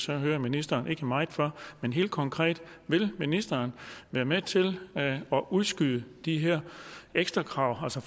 jeg hører ministeren ikke er meget for men helt konkret vil ministeren være med til at udskyde de her ekstra krav altså